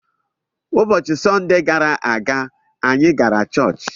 Ụbọchị Sọnde gara aga, anyị gara chọọchị.